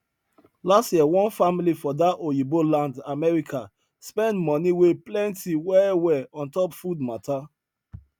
last year one family for that oyinbo land america spend money wey plenty well well ontop food matter